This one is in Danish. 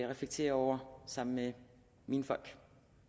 reflektere over sammen med mine folk